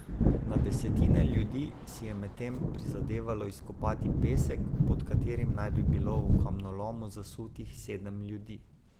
Na desetine ljudi si je medtem prizadevalo izkopati pesek, pod katerim naj bi bilo v kamnolomu zasutih sedem ljudi.